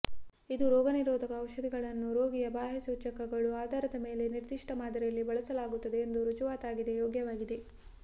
ಇದು ರೋಗನಿರೋಧಕ ಔಷಧಗಳನ್ನು ರೋಗಿಯ ಬಾಹ್ಯ ಸೂಚಕಗಳು ಆಧಾರದ ಮೇಲೆ ನಿರ್ದಿಷ್ಟ ಮಾದರಿಯಲ್ಲಿ ಬಳಸಲಾಗುತ್ತದೆ ಎಂದು ರುಜುವಾತಾಗಿದೆ ಯೋಗ್ಯವಾಗಿದೆ